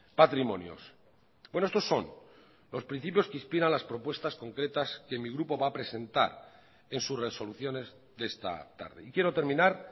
patrimonios bueno estos son los principios que inspiran las propuestas concretas que mi grupo va a presentar en sus resoluciones de esta tarde y quiero terminar